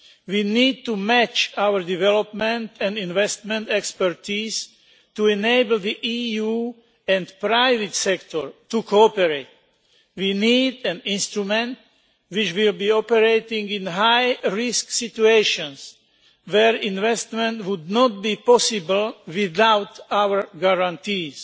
We need to match our development and investment expertise to enable the EU and the private sector to cooperate. We need an instrument which will operate in high risk situations where investment would not be possible without our guarantees.